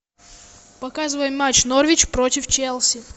показывай матч норвич против челси